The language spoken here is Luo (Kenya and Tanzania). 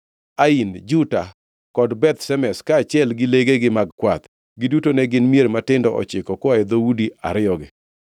Ain, Juta kod Beth Shemesh, kaachiel gi legegi mag kwath. Giduto ne gin mier matindo ochiko koa e dhoudi ariyogi.